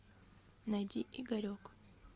найди игорек